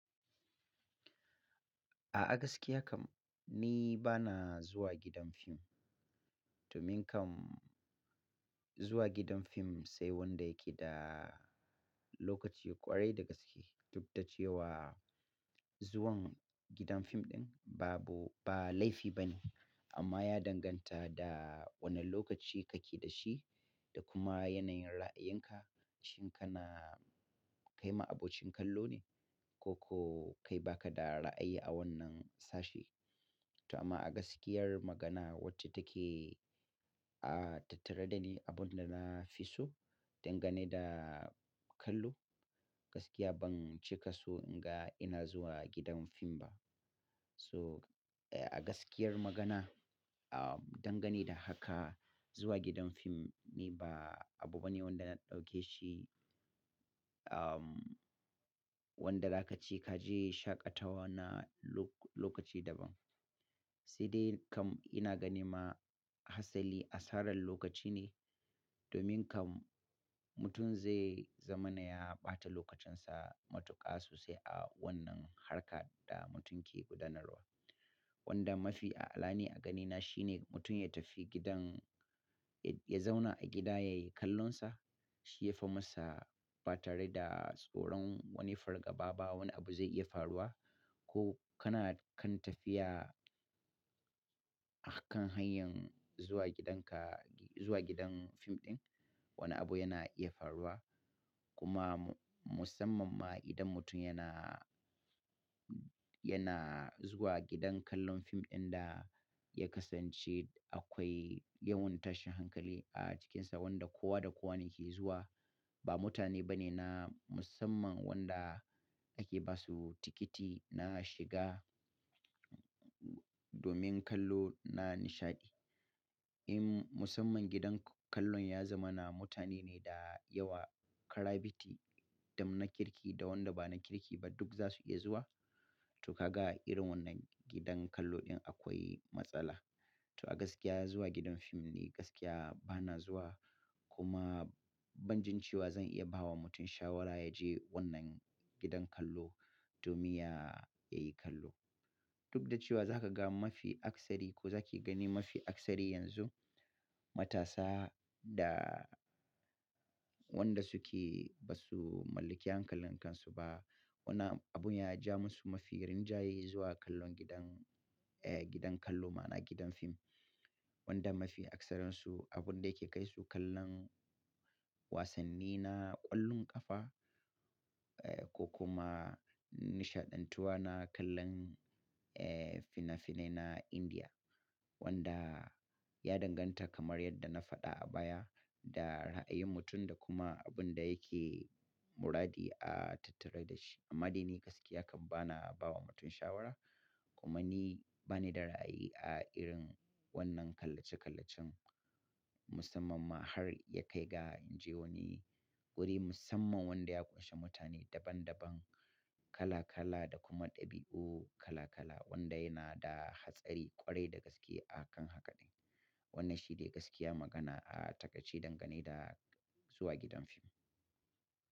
A, agaskiya kam ni bana zuwa gidan fim. Domin kam zuwa gidan fim sai wanda yake da lokaci ƙwarai da gaske. Duk da cewa zuwan gidan fim ɗin babu ba laifi bane amma ya danganta da wane lokaci kake da shi da kuma yanayin ra'ayinka. Shin kana kai ma abokin kallo ne koko kai baka da ra'ayi a wannan sashe. To amma a gaskiyar magana wacce take tattare da ni, abunda na fi so dangane da kallo, gaskiya ban cika so in ga ina zuwa gidan fim ba. So a gaskiyar magana, ahm dangane da haka zuwa gidan fim ni ba abu bane wanda na ɗauke shi, wanda zaka CE kaje shaƙatawa na lokaci daban. Sai dai kam ina ganin ma hatsali asarar lokaci ne. Domin kam mutum zai zamana ya ɓata lokacinsa matuƙa sosai a wannan harkar da mutum ke gudanarwa. Wanda mafi a alani a ganina shine mutum ya tafi gidan, ya zauna a gida ya yi kallonsa shi ya fi masa ba tare da tsoron wani fargaba ba wani abu zai iya faruwa. Ko kana kan tafiya a kan hanyar zuwa gidanka, zuwa gidan fim ɗin wani abu yana iya faruwa. Kuma musamman ma idan mutum yana, yana zuwa gidan kallon fim ɗin da ya kasance akwai yawon tashin hankali a cikinsa wanda kowa da kowa ne ke zuwa. Ba mutane bane na musamman wanda ake ba su tikiti na shiga domin kallo na nishaɗi. In musamman gidan kallon ya zama na mutane ne da yawa, karabiti, dam na kirki da wanda ba na kirki ba duk za su iya zuwa. To ka ga irin wannan gidan kallo ɗin akwai matsala. To a gaskiya zuwa gidan fim ni gaskiya bana zuwa. Kuma ban jin cewa zan iya bawa mutum shawara yaje wannan gidan kallo domin ya yi kallo. Duk da cewa zaka ga mafi aksari ko zaki gani mafi aksari yanzu matasa da wanda suke ba su mallaki hankalin kansu ba. Wannan abun ya ja musu mafi rinjaye zuwa kallon gidan, gidan kallo ma'ana gidan fim. Wanda mafi aksarinsu abunda yake kai su kallon wasanni na ƙwallon ƙafa ko kuma nishaɗantuwa na kallon fina-finai na Indiya. Wanda ya danganta kamar yadda na faɗa a baya da ra'ayin mutum da kuma abunda yake muradi a tattare da shi. Amma dai ni gaskiya kam bana bawa mutum shawara kuma ni bani da ra'ayi a irin wannan kallece-kallecen musamman ma har ya kai ga in je wani guri musamman wanda ya ƙunshi mutane daban daban, kala kala da kuma ɗabi'u kala kala wanda yana da hatsari ƙwarai da gaske a kan haka din. Wannan shi ne gaskiya magana a taƙaici dangane da zuwa gidan fim.